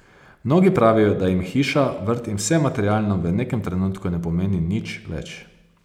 Mnogi pravijo, da jim hiša, vrt in vse materialno v nekem trenutku ne pomeni nič več.